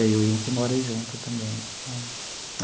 E aí hoje a gente mora junto também.